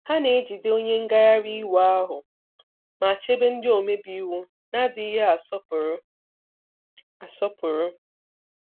Ha na-ejide onye ngagharị iwe ahụ, ma chebe ndị omebe iwu na-adịghị asọpụrụ. asọpụrụ.